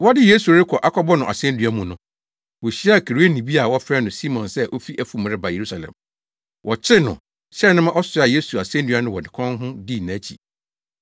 Wɔde Yesu rekɔ akɔbɔ no asennua mu no, wohyiaa Kireneni bi a wɔfrɛ no Simon sɛ ofi afum reba Yerusalem. Wɔkyeree no, hyɛɛ no ma ɔsoaa Yesu asennua no wɔ ne kɔn ho dii nʼakyi.